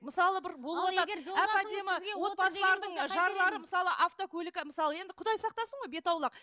мысалы бір болыватады отбасылардың жарлары мысалы автокөлік мысалы енді құдай сақтасын ғой беті аулақ